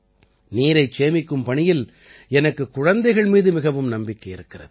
நீரைச் சேமிக்கும் பணியில் எனக்குக் குழந்தைகள் மீது மிகவும் நம்பிக்கை இருக்கிறது